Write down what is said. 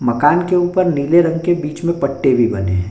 मकान के ऊपर नीले रंग के बीच में पट्टे भी बने हैं।